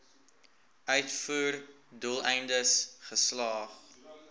uitvoer doeleindes geslag